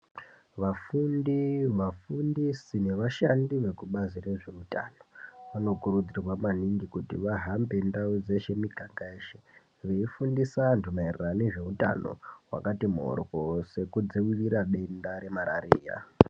Vafundi vafundisi nevashandi vekubazi rezveutano vanokurudzirwa maningi kuti vahambe ndaudzeshe muganga yeshe veifundisa antu mairirano nezveutano wakati mhorwo sekudzirira denda remarira.